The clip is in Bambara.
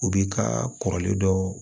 U bi ka kɔrɔlen dɔ